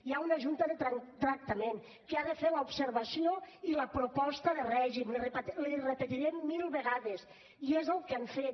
hi ha una junta de tractament que ha de fer l’observació i la proposta de règim l’hi repetiré mil vegades i és el que han fet